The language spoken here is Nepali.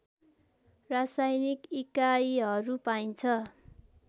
रासायनिक इकाइहरू पाइन्छ